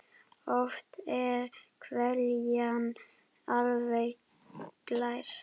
Oft er hveljan alveg glær.